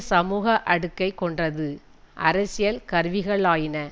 சமூக அடுக்கை கொண்டது அரசியல் கருவிகளாயின